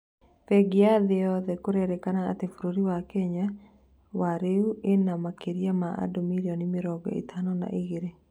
Bengi ya thĩ yothe kũrerĩkana atĩ bũrũri wa Kenya wa rĩu ĩnamakĩria ma andũ mirioni mĩrongo ĩtano na igĩrĩ